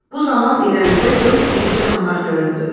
Bu zaman irəlidə dörd iri canavar göründü.